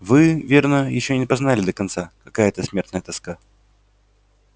вы верно ещё не познали до конца какая это смертная тоска